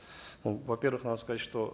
ну во первых надо сказать что